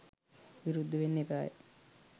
විරුද්ධ වෙන්න එපාය.